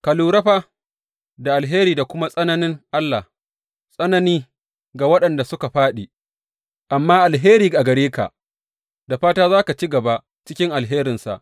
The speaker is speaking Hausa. Ka lura fa da alheri da kuma tsananin Allah, tsanani ga waɗanda suka fāɗi, amma alheri a gare ka, da fata za ka ci gaba cikin alherinsa.